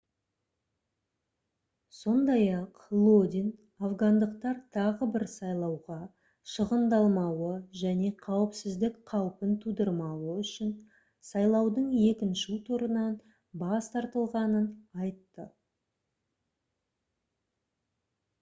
сондай-ақ лодин афгандықтар тағы бір сайлауға шығындалмауы және қауіпсіздік қаупін тудырмау үшін сайлаудың екінші турынан бас тартылғанын айтты